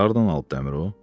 Bəs hardan alıb dəmir o?